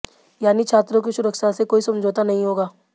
यानी छात्रों की सुरक्षा से कोई समझौता नहीं होगा